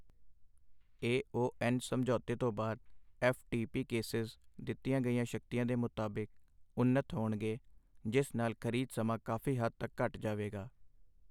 ਏ O N ਸਮਝੌਤੇ ਤੋਂ ਬਾਅਦ ਐੱਫ ਟੀ ਪੀ ਕੇਸੇਸ ਦਿੱਤੀਆਂ ਗਈਆਂ ਸ਼ਕਤੀਆਂ ਦੇ ਮੁਤਾਬਿਕ ਉੱਨਤ ਹੋਣਗੇ, ਜਿਸ ਨਾਲ ਖ਼ਰੀਦ ਸਮਾਂ ਕਾਫੀ਼ ਹੱਦ ਤੱਕ ਘੱਟ ਜਾਵੇਗਾ।